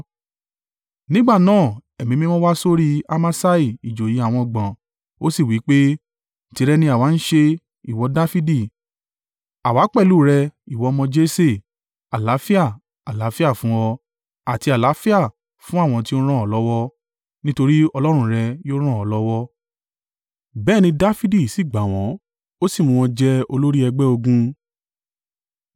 Nígbà náà Ẹ̀mí Mímọ́ wa sórí Amasai ìjòyè àwọn ọgbọ̀n, ó sì wí pé, “Tìrẹ ni àwa ń ṣe, ìwọ Dafidi! Àwa pẹ̀lú rẹ, ìwọ ọmọ Jese! Àlàáfíà, àlàáfíà fún ọ, àti àlàáfíà fún àwọn tí ó ràn ó lọ́wọ́, nítorí Ọlọ́run rẹ̀ yóò ràn ọ́ lọ́wọ́.” Bẹ́ẹ̀ ni Dafidi sì gbà wọ́n ó sì mú wọn jẹ olórí ẹgbẹ́ ogun.